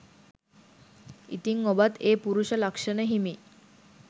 ඉතිං ඔබත් ඒ පුරුෂ ලක්ෂණ හිමි